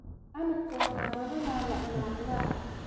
Canabka waxaa badanaa la cunaa quraacda.